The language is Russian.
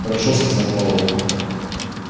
хорошо сказал пауэлл